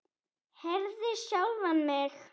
Herði sjálfa mig.